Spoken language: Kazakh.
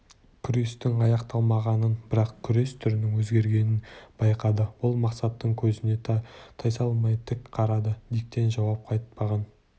күрестің аяқталмағанын бірақ күрес түрінің өзгергенін байқады ол мақсаттың көзіне тайсалмай тік қарады диктен жауап қайтпаған